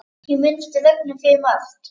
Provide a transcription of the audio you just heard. Ég minnist Rögnu fyrir margt.